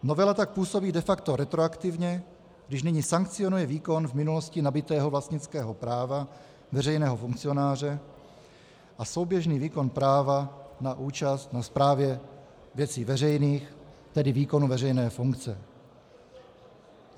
Novela tak působí de facto retroaktivně, když nyní sankcionuje výkon v minulosti nabytého vlastnického práva veřejného funkcionáře a souběžný výkon práva na účast na správě věcí veřejných, tedy výkonu veřejné funkce.